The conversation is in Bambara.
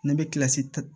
Ne bɛ kilasi